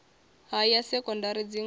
ha ya sekondari dzingo na